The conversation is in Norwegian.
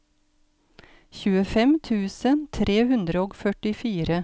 tjuefem tusen tre hundre og førtifire